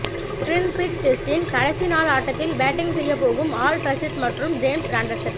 டிரின் Bridge டெஸ்டின் கடைசி நாள் ஆட்டத்தில் பேட்டிங் செய்யப் போகும் ஆட்ல் ரஷீத் மற்றும் ஜேம்ஸ் ஆண்டர்சன்